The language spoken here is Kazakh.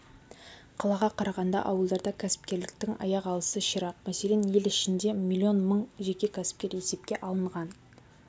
қалаға қарағанда ауылдарда кәсіпкерліктің аяқ алысы ширақ мәселен ел ішінде млн мың жеке кәсіпкер есепке алынған